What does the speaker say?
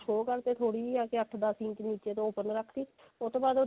show ਕਰਤੇ ਥੋੜੀ ਜੀ ਆ ਕੇ ਅੱਠ ਦਸ ਇੰਚ ਨੀਚੇ ਤੋਂ open ਰੱਖਤੀ ਉਹ ਤੋਂ ਬਾਅਦ